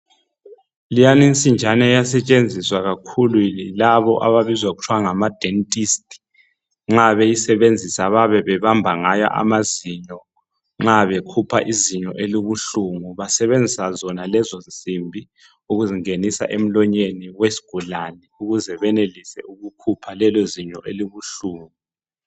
Leyani nsinjana iyasetshenziswa kakhulu yilabo ababizwa kuthwa ngama dentist nxa beyisebenzisa bayabe bebamba ngayo amazinyo nxa bekhupha izinyo elibuhlungu basebenzisa zona lezonsimbi ukuzingenisa emlonyeni wesgulani ukuze benelise ukukhupha lelo zinyo elibuhlungu.